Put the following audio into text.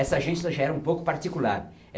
Essa agência já era um pouco particular.